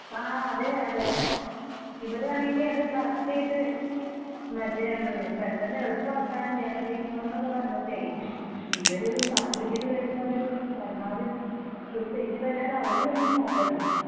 ആ അതെ. അതെ.ഇവിടാണെങ്കി അത് കറക്റ്റായിട്ട് മറ്റെ പെട്ടെന്ന് എളുപ്പമാക്കാൻ ജനകീയ മുഖം ന്നൊക്കെ പറഞ്ഞിട്ടേയ്യ് ഇവര് സർട്ടിഫിക്കറ്റ് തരുമ്പോ അതിൽ പരമാവധി ഒര് തെറ്റ് പറ്റാതെ അവരും ഒന്ന് നൊക്കണ്ടെ?